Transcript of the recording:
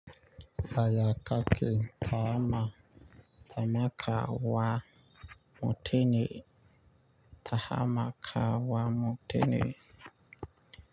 Haya kake tahama tamaka wa mutini. Tahama ka wa mutini.